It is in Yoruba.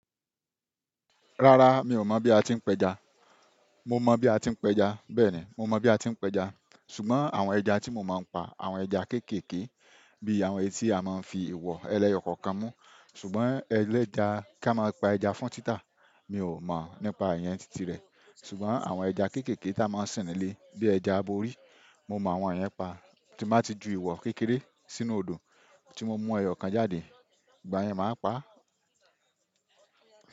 Rárá mi ò mọ̀ bí a ti ń pẹja. Mo mọ̀ bí a ti ń pẹja, bẹ́ẹ̀ni mo mọ bí a ti ń pẹja. Ṣùgbọ́n àwọn ẹja tí mo máa ń pa, àwọn ẹja kéékèèké bí i àwọn ẹtí a máa ń fi ìwọ̀ ẹlẹyo kan kan mú. Ṣùgbọ́n ẹlẹ́ja, kí a máa pa ẹja fún títà, mi ò mọ̀ nípa ìyẹn títí rẹ̀. Ṣùgbọ́n àwọn ẹja kéékèèké tá a máa ń sin nílé bíi ẹja aborí, mo mọ àwọn yẹn pa. Tí o bá ti ju ìwọ̀ kékeré sínú odò, tí mo mú ẹyọ̀kan jáde, ìgbà yẹn màá pa á.